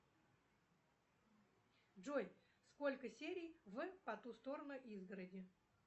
джой сколько серий в по ту сторону изгороди